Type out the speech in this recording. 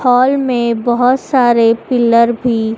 hall में बहोत सारे पिलर भी--